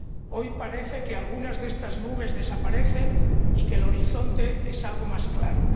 Hoy parece que algunas de estas nubes desaparecen y que el horizonte es algo más claro